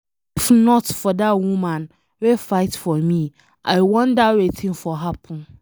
If not for that woman wey fight for me, I wonder wetin for happen.